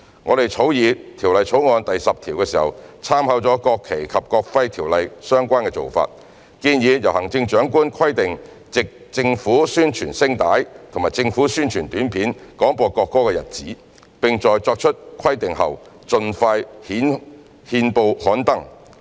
我們在草擬《條例草案》第10條時，參考了《國旗及國徽條例》相關做法，建議由行政長官規定藉政府宣傳聲帶或政府宣傳短片廣播國歌的日子，並在作出規定後，盡快在憲報刊登。